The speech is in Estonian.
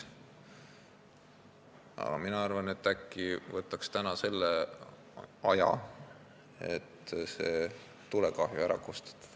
Aga mina arvan, et äkki võtaks selle aja, et see tulekahju täna ära kustutada.